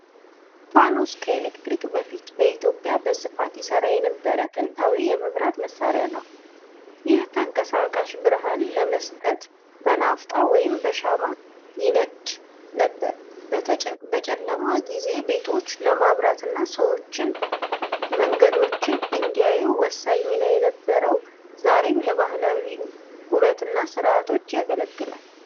ፋኖስ ከኤሌክትሪክ በፊት በኢትዮጵያ በስፋት ይሠራ የነበረ ጥንታዊ የመብራት መሣሪያ ነው። ይህ ተንቀሳቃሽ ብርሃን ለመስጠት በናፍጣ ወይም በሻማ ይነዳ ነበር። በጨለማ ጊዜ ቤቶችን ለማብራትና ሰዎች መንገዶችን እንዲያዩ ወሳኝ ሚና ነበረው። ዛሬም ለባህላዊ ውበቱና ሥነ-ሥርዓቶች ያገለግላል።